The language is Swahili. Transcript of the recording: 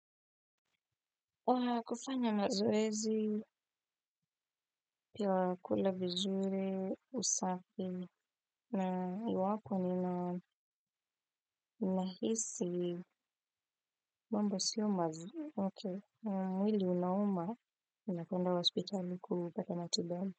Kufanya mazoezi pia kula vizuri, usafi, na iwapo nina nahisi mambo sio mazuri. Mwili unauma, ninakwenda hospitali kupata matibabu.